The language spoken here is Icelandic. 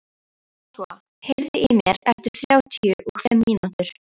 Joshua, heyrðu í mér eftir þrjátíu og fimm mínútur.